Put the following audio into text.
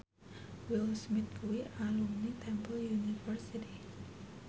Will Smith kuwi alumni Temple University